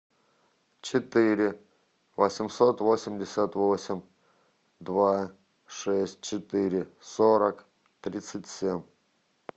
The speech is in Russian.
четыре восемьсот восемьдесят восемь два шесть четыре сорок тридцать семь